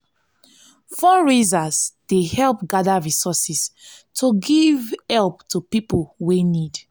fundraisers dey help gather resources to giv help to pipo wey need.